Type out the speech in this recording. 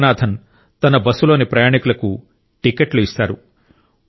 యోగనాథన్ తన బస్సులోని ప్రయాణికులకు టిక్కెట్లు ఇస్తారు